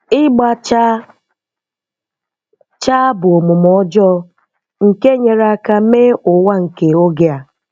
Ịgba chaa chaa bụ omume ọjọọ nke nyere aka mee ụwa nke oge a.